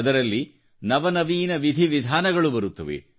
ಅದರಲ್ಲಿ ನವವೀನ ವಿಧಿವಿಧಾನಗಳು ಬರುತ್ತವೆ